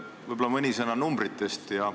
Võib-olla mõni sõna numbritest.